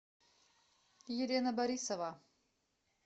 елена борисова